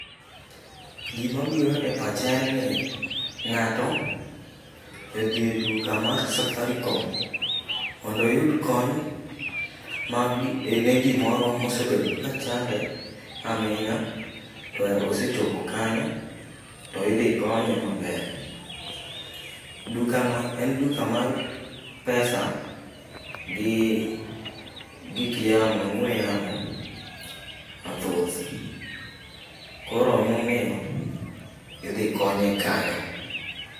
Gima biro e pacha en ni ng'ato odhi e duka mar safaricom mondo oyud kony ne gimoro mosebedo kachande aming'a to osechopo kanyo to idhi konye maber. Dukano en duka mar pesa gi gik ong'we yamo mathoth. Koro emomiyo idhi konye kanyo.